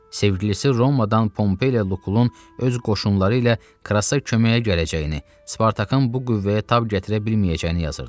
Sevgilisi Romadan Pompey ilə Lukulun öz qoşunları ilə Krassa köməyə gələcəyini, Spartakın bu qüvvəyə tab gətirə bilməyəcəyini yazırdı.